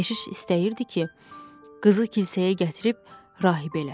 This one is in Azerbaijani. Keşiş istəyirdi ki, qızı kilsəyə gətirib rahib eləsin.